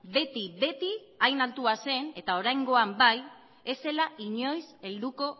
beti beti hain altua zen eta oraingoan bai ez zela inoiz helduko